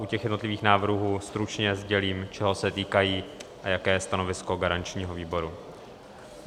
U těch jednotlivých návrhů stručně sdělím, čeho se týkají a jaké je stanovisko garančního výboru.